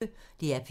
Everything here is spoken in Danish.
DR P1